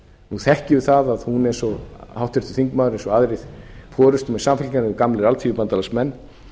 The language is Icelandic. nú þekkjum við það að háttvirtur þingmaður eins og aðrir forustumenn samfylkingarinnar eru gamlir alþýðubandalagsmenn